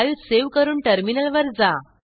file save करून टर्मिनलवर जा